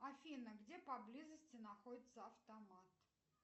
афина где поблизости находится автомат